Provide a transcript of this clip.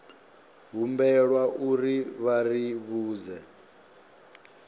humbelwa uri vha ri vhudze